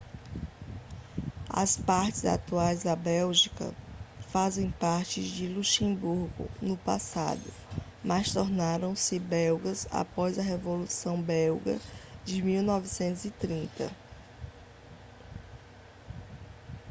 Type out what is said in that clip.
as partes atuais da bélgica faziam parte do luxemburgo no passado mas tornaram-se belgas após a revolução belga de 1830